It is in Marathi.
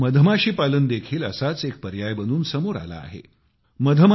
आता मधमाशी पालन देखील असाच एक पर्याय बनून समोर आला आहे